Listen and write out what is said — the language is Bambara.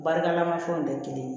Baarakɛminɛn fɛnw tɛ kelen ye